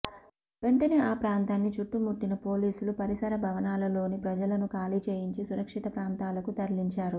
వెంటనే ఆ ప్రాంతాన్ని చుట్టుముట్టిన పోలీసులు పరిసర భవనాలలోని ప్రజలను ఖాళీ చేయించి సురక్షిత ప్రాంతాలకు తరలించారు